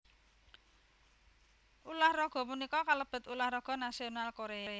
Ulah raga punika kalebet ulah raga nasional Korea